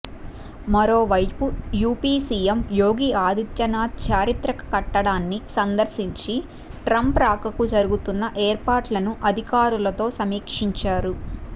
మరోవైపు UP CM Yogi Adityanath చారిత్రక కట్టడాన్ని సందర్శించి ట్రంప్ రాకకు జరుగుతున్న ఏర్పాట్లను అధికారులతో సమీక్షించారు